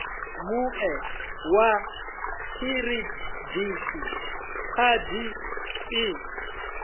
mue wa khiridithi khadi i